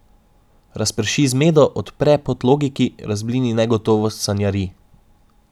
Razprši zmedo, odpre pot logiki, razblini negotovost sanjarij.